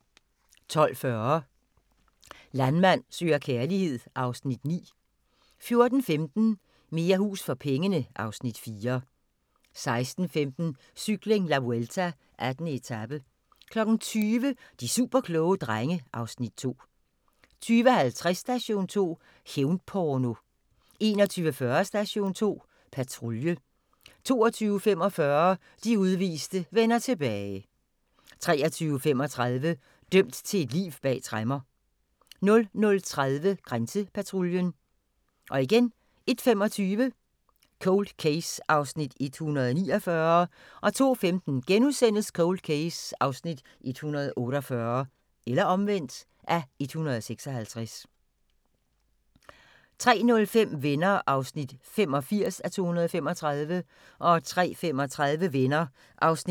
12:40: Landmand søger kærlighed (Afs. 9) 14:15: Mere hus for pengene (Afs. 4) 16:15: Cykling: La Vuelta - 18. etape 20:00: De superkloge drenge (Afs. 2) 20:50: Station 2: Hævn-porno 21:40: Station 2 Patrulje 22:45: De udviste vender tilbage 23:35: Dømt til et liv bag tremmer 00:30: Grænsepatruljen 01:25: Cold Case (149:156)